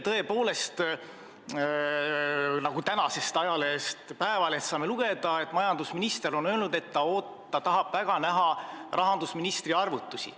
Tõepoolest, nagu saame lugeda tänasest ajalehest Eesti Päevaleht, majandusminister eile ütles, et ta tahab väga näha rahandusministri arvutusi.